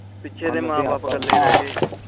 ਪਿੱਛੇ ਉਸਦੇ ਮਾਂ ਬਾਪ ਕਾਲੇ ਰਹਿ ਗਏ